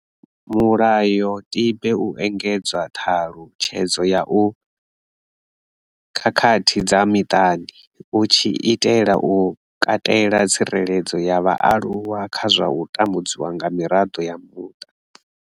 Mulayotibe u engedzedza ṱhalutshedzo ya u khakhathi dza miṱani u tshi itela u katela tsireledzo ya vhaaluwa kha u tambudzwa nga miraḓo ya muṱa.